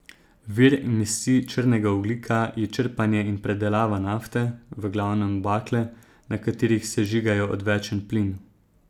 Vir emisij črnega ogljika je črpanje in predelava nafte, v glavnem bakle, na katerih sežigajo odvečen plin.